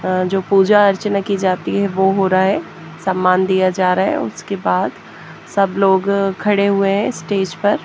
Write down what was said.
अं जो पूजा अर्चना की जाती हैं वो हो रहा है सामान दिया जा रहा हैं उसके बाद सब लोग खड़ा हुए हैं स्टेज पर।